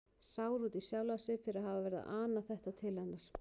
Sár út í sjálfan sig fyrir að hafa verið að ana þetta til hennar.